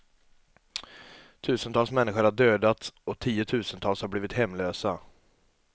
Tusentals människor har dödats och tiotusentals har blivit hemlösa.